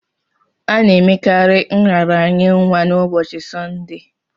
A na-emekarị nraranye nwa na ụbọchi Sọnde